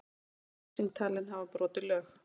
Lýsing talin hafa brotið lög